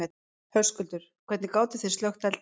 Höskuldur: Hvernig gátið þið slökkt eldinn?